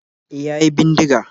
E, ya yi bindiga